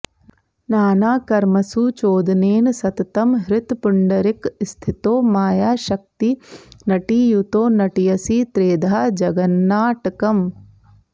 नानाकर्मसु चोदनेन सततं हृत्पुण्डरीकस्थितो मायाशक्तिनटीयुतो नटयसि त्रेधा जगन्नाटकम्